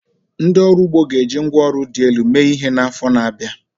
Ndị ọrụ ugbo ga-eji ngwá ọrụ dị elu mee ihe n'afọ ndị na-abịa.